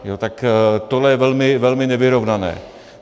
Tak tohle je velmi nevyrovnané.